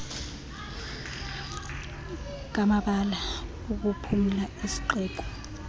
ngamabala okuphumla esixeko